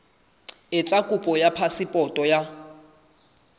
etsa kopo ya phasepoto ya